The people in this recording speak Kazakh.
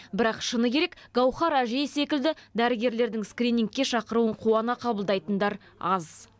бірақ шыны керек гауһар әжей секілді дәрігерлердің скринингке шақыруын қуана қабылдайтындар аз